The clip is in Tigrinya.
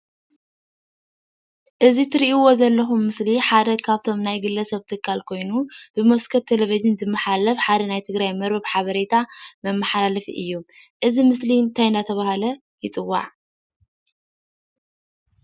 እዚ እትሪኢዎ ዘለኹም ምስሊ ሓደ ካብቶም ናይ ገለ ሰብ ትካል ኮይኑ ብመስኮት ቴሌቪዥን ዝመሓላለፍ ሓደ ናይ ትግራይ መርበብ ሓበሬታ መማሓላለፊ እዩ፡፡ እዚ ምስሊ እንታይ እናተባህለ ይፅዋዕ፡፡